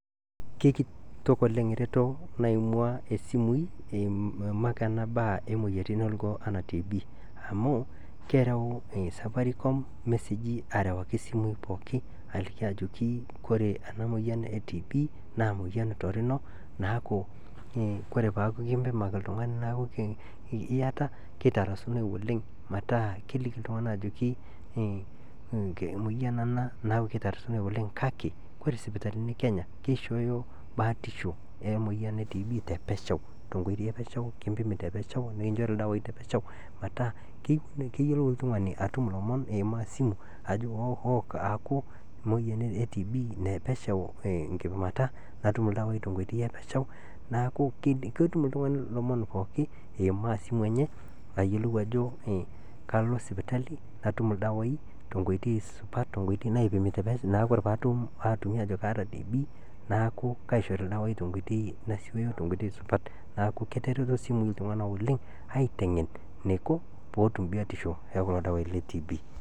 Kekito oleng ereto naimua esimui eimaki anaa baa emoyiarritin orgoo ana TB amuu keraau [c]safaricom lmeseji arawaki simuii pooki aliki ajoki koree ana moyian e TB naa moyian torino naaku kore peaku kimpimaki ltungani naaku ieta keitarasunoi oleng metaa kelikini ltunganak ajoki imoyian ana naa keitarasunoi oleng kake kore sipitalini e Kenya keishooyo baatisho emoyian e TB te pesheu te nkoitei epesheu kimpini te nkoitoi epesheu nikinchoru irdawaaii te pesheu metaa keyiolou oltungani arum lomon eimaa esimu ajoo aaku emoyian e TB nepesheu nkipimata natum irdawai epesheu neaku ketum iltungani lomon pooki eimaa simu enye ayiolou ajo kalo sipitali natum irdawaai te nkooitoi sipat tenkoitoi naipimi te pesheu naa kore paatumi aajo kaata TB naaku kaishori irdawaii te nkoitoi sipat naake ketereto simui ltungana oleng aiteng'en neiko peetum biotisho eekulo dawaii le TB.